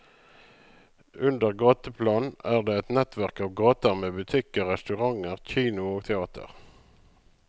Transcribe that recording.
Under gateplan er det et nettverk av gater med butikker, restauranter, kino og teater.